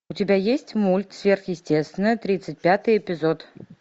у тебя есть мульт сверхъестественное тридцать пятый эпизод